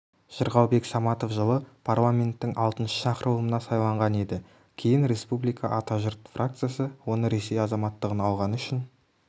жырғалбек саматов жылы парламенттің алтыншы шақырылымына сайланған еді кейін республика-ата-жұрт фракциясы оны ресей азаматтығын алғаны үшін